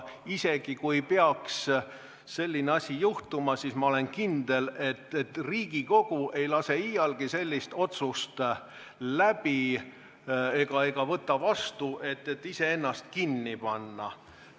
Isegi kui peaks selline asi juhtuma, siis ma olen kindel, et Riigikogu ei lase iialgi läbi ega võta vastu sellist otsust, et iseennast kinni panna.